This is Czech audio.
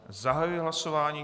Zahajuji hlasování.